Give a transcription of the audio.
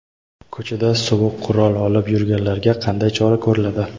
Ko‘chada sovuq qurol olib yurganlarga qanday chora ko‘riladi?.